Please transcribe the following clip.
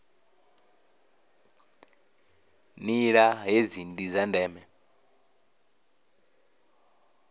nila hedzi ndi dza ndeme